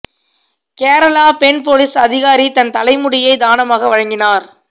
கேரளா பெண் போலீஸ் அதிகாரி தன் தலைமுடியை தானமாக வழங்கினார்